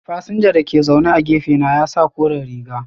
Fasinja da ke zaune a gefe na ya sa kore riga.